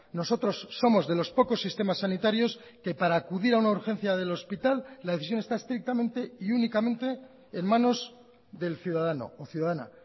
nosotros somos de los pocos sistemas sanitarios que para acudir a una urgencia del hospital la decisión está estrictamente y únicamente en manos del ciudadano o ciudadana